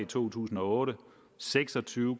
to tusind og otte og seks og tyve